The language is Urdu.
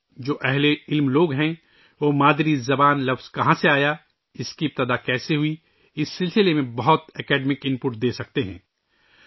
جو پڑھے لکھے لوگ ہیں، وہ اس بارے میں کافی علمی معلومات دے سکتے ہیں کہ مادری زبان کا لفظ کہاں سے آیا، اس کی ابتدا کیسے ہوئی